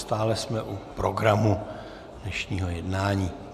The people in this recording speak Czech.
Stále jsme u programu dnešního jednání.